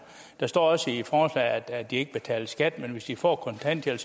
der står også i forslaget at de ikke betaler skat men hvis de får kontanthjælp